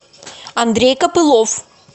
андрей копылов